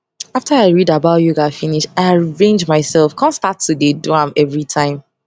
after i read about yoga finish i arrange myself com start to dey do am everytime